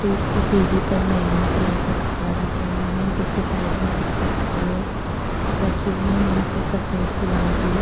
stage की सीढ़ी पर बैगनी कलर का कपड़ा लगा हुआ है जिसके साइड में कुछ चप्पले रखी हुई है यहां पर सफेद गुलाबी --